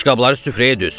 Boşqabları süfrəyə düz!